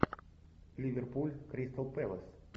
ливерпуль кристал пэлас